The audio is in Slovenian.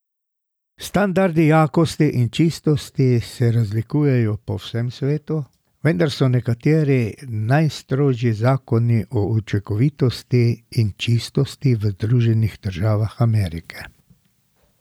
Standardi jakosti in čistosti se razlikujejo po vsem svetu, vendar so nekateri najstrožji zakoni o učinkovitosti in čistosti v Združenih državah Amerike.